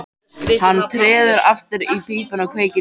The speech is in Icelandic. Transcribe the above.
Hann treður aftur í pípuna og kveikir í.